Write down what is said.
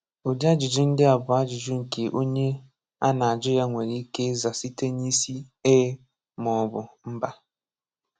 Ụdị ajụjụ ndị a bụ ajụjụ nke onye a na-ajụ ya nwere ike ịza site n’isi “Eee” ma ọ bụ “Mba”